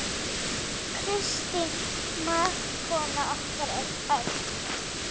Kristín mágkona okkar er öll.